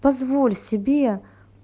позволь себе